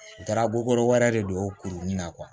U taara kokokɔrɔ wɛrɛ de don o kuru nin na